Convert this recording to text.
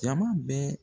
Jama bɛ